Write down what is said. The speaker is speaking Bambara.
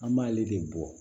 An b'ale de bɔ